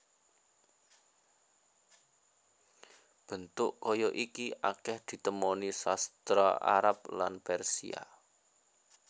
Bentuk kaya iki akèh ditemoni sastra Arab lan Persia